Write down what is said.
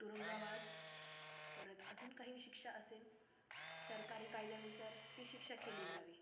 तुरुंगवास परत अजून काही शिक्षा असेल सरकारी कायद्यानुसार ती शिक्षा केली जावी,